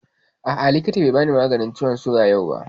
A'a, likitan bai bani maganin ciwon suga yau ba